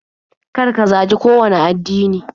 Kar ka zagi kowanne addini.